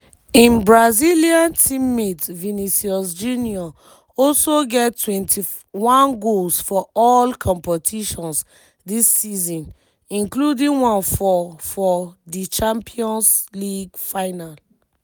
im brazilian teammate vinicius junior also get 21 goals for all competitions dis season including one for for di champions league final.